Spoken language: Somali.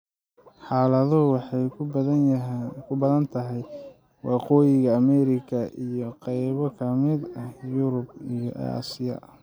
Xaaladdu waxay ku badan tahay Waqooyiga Ameerika iyo qaybo ka mid ah Yurub iyo Aasiya.